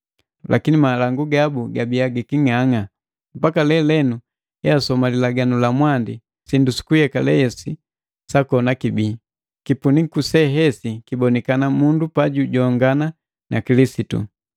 Lakini malangu gabu gabii giking'ang'a. Mpaka lelenu easoma Lilaganu la Mwandi, sindu sukuyekale se hesi sakona kibii. Kipuniku se hesi kiboka mundu pajujongana na Kilisitu.